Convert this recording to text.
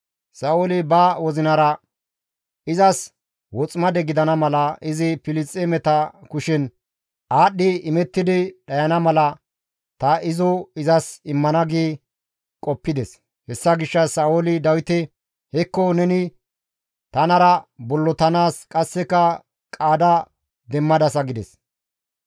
Sa7ooli ba wozinara, «Izas woximade gidana mala, izi Filisxeemeta kushen aadhdhi imettidi dhayana mala ta izo izas immana» gi qoppides. Hessa gishshas Sa7ooli Dawite, «Hekko neni tanara bollotanaas qasseka qaada demmadasa» gides.